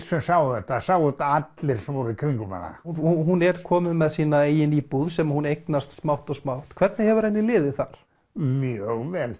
sem sáu þetta það sáu það allir sem voru í kringum hana hún er komin með sína eigin íbúð sem hún eignast smátt og smátt hvernig hefur henni liðið þar mjög vel